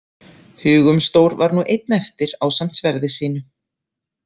Hugumstór var nú einn eftir ásamt sverði sínu.